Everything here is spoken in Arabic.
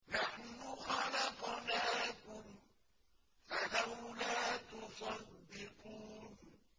نَحْنُ خَلَقْنَاكُمْ فَلَوْلَا تُصَدِّقُونَ